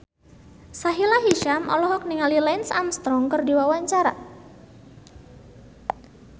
Sahila Hisyam olohok ningali Lance Armstrong keur diwawancara